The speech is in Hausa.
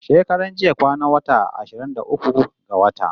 Shekaran jiya kwanan wata ashirin da uku ga wata